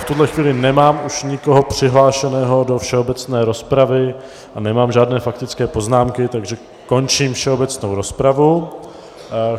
V tuhle chvíli nemám už nikoho přihlášeného do všeobecné rozpravy a nemám žádné faktické poznámky, takže končím všeobecnou rozpravu.